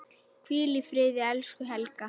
Hvíl í friði, elsku Helga.